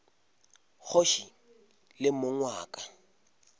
kgoši le mong wa ka